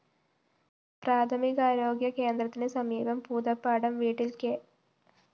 പ്രാഥമികാരോഗ്യ കേന്ദ്രത്തിന് സമീപം പൂതപ്പാടം വീട്ടില്‍ കെ